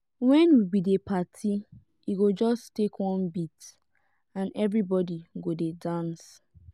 wen we dey party e go just take one beat and everybody go dey dance.